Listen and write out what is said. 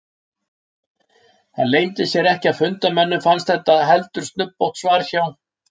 Það leyndi sér ekki að fundarmönnum fannst þetta heldur snubbótt svar hjá